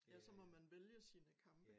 Ja så må man vælge sine kampe